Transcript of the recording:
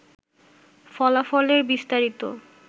ফলাফলের বিস্তারিত